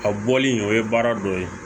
A bɔli o ye baara dɔ ye